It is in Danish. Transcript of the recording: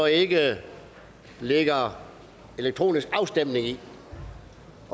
ikke ligger elektronisk afstemning i